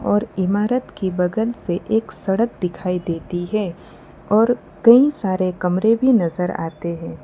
और इमारत के बगल से एक सड़क दिखाई देती है और कई सारे कमरे भी नजर आते हैं।